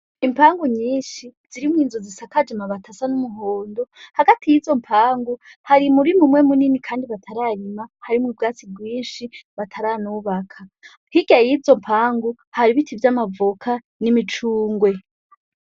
Impangu nyinshi zirimwo inzu zisakaje amabati asa n'umuhondo, hagati y'izo mpangu hari umurima umwe munini kandi batararima, harimwo ubwatsi bwinshi bataranubaka. Hirya y'izo mpangu hari ibiti vy'amavoka n'imicungwe.